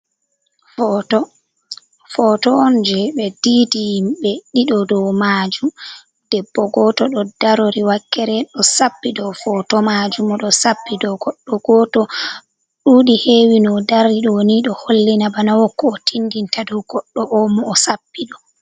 Foto, foto on je ɓe diidi himɓe ɗiɗo dow majum debbo goto ɗo darori wakkere ɗo sappi dou poto majum oɗo sappi dow goɗɗo goto, duɗi hewi no dari ɗo ni ɗo hollina bana wokko o tindinta dou goɗɗo o mo o sappi ɗo.